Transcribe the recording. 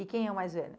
E quem é o mais velho?